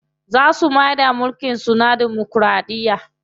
Za su maida mulkin su na damokiraɗiya.